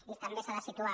i també s’ha de situar